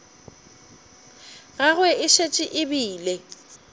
gagwe e šetše e bile